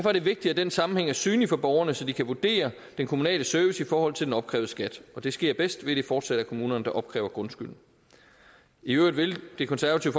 er det vigtigt at den sammenhæng er synlig for borgerne så de kan vurdere den kommunale service i forhold til den opkrævede skat og det sker bedst ved at det fortsat er kommunerne der opkræver grundskylden i øvrigt vil det konservative